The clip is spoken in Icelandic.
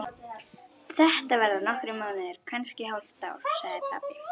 Þetta verða nokkrir mánuðir, kannski hálft ár, sagði pabbi.